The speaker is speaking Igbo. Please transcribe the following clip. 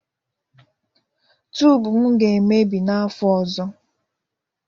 tubu m ga-emebi n'afọ ọzọ